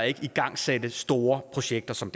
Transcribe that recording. ikke igangsætte store projekter som